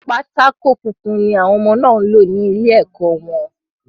Pátákó funfun ni àwọn ọmọ náà ń lò ní ilẹ̀ ẹkọ̀ wọn